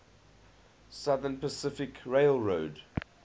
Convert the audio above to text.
southern pacific railroad